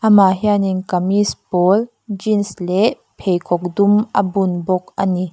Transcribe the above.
amah hianin kamis pawl jeans leh pheikhawk dum a bum bawk a ni.